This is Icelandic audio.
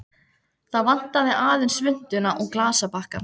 Það vantaði aðeins svuntuna og glasabakkann.